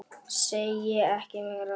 Segi ekki meir.